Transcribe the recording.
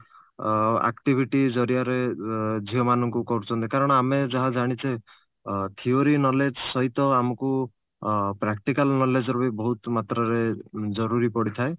ଅ activity ଜରିଆରେ ଅ ଝିଅ ମାନଙ୍କୁ କରୁଛନ୍ତି କାରଣ ଆମେ ଯାହା ଜାଣିଛେ ଅ theory knowledge ସହିତ ଆମକୁ ଅ practical knowledge ର ବି ବହୁତ ମାତ୍ରାରେ ଜରୁରୀ ପଡିଥାଏ